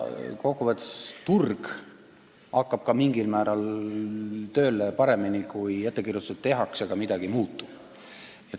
Kokku võttes turg hakkab mingil määral paremini tööle, kui ettekirjutusi tehakse, aga midagi ei muutu.